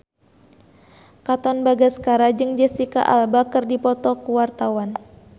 Katon Bagaskara jeung Jesicca Alba keur dipoto ku wartawan